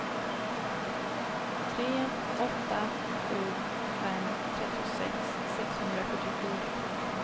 tre åtta sju fem trettiosex sexhundrasjuttiofyra